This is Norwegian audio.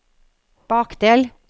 bakdel